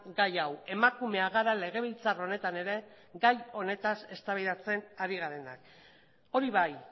gai hau emakumeak gara legebiltzar honetan ere gai honetaz eztabaidatzen ari garenak hori bai